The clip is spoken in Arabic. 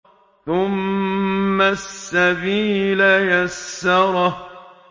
ثُمَّ السَّبِيلَ يَسَّرَهُ